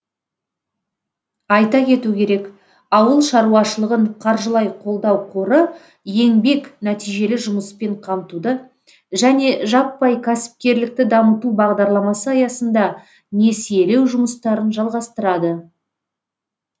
айта кету керек ауыл шаруашылығын қаржылай қолдау қоры еңбек нәтижелі жұмыспен қамтуды және жаппай кәсіпкерлікті дамыту бағдарламасы аясында несиелеу жұмыстарын жалғастырады